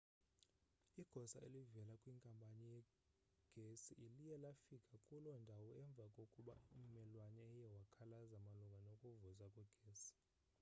igosa elivela kwinkampani yegesi liye lafika kuloo ndawo emva kokuba ummelwane eye wakhalaza malunga nokuvuza kwegesi